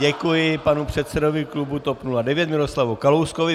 Děkuji panu předsedovi klubu TOP 09 Miroslavu Kalouskovi.